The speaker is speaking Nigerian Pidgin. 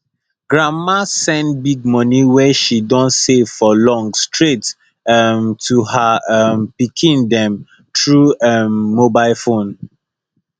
grandma send big money wey she don save for long straight um to her um pikin dem through um mobile phone